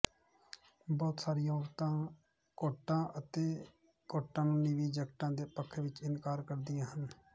ਬਹੁਤ ਸਾਰੀਆਂ ਔਰਤਾਂ ਕੋਟਾਂ ਅਤੇ ਕੋਟਾਂ ਨੂੰ ਨੀਵੀਂ ਜੈਕਟਾਂ ਦੇ ਪੱਖ ਵਿੱਚ ਇਨਕਾਰ ਕਰਦੀਆਂ ਹਨ